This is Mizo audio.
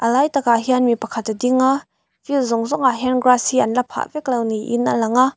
lai takah hian mipakhat a dinga field zawng zawng ah hian grass hi an la phah veklo niin a lang a.